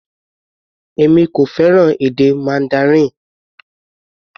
Èmi kò fẹ́ràn èdè Mandarin.